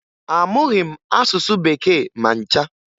Amụghị m asụsụ Bekee ma ncha